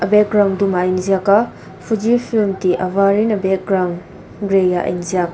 background dum ah a inziak a fuji film tih a var in a background gray ah a inziak.